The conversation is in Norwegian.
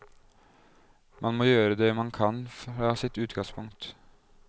Man må gjøre det man kan fra sitt utgangspunkt.